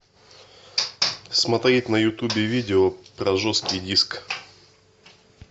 смотреть на ютубе видео про жесткий диск